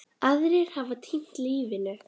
Aðrir hafa týnt lífinu.